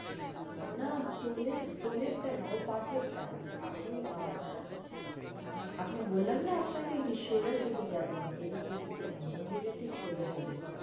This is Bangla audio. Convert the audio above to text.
না টোলের টা না ওর পাশের টা আপনে আপনে বললাম না আপনাকে যে সোজাসোজি যান এদিকে ওদিকে না মন্দিরের ঠিক সোজাসোজি